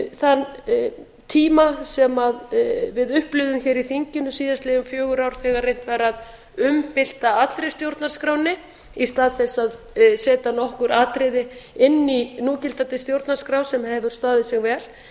þann tíma sem við upplifðum hér í þinginu síðastliðin fjögur ár þegar reynt var að umbylta allri stjórnarskránni í stað þess að setja nokkur atriði inn í núgildandi stjórnarskrá sem hefur staðið sig vel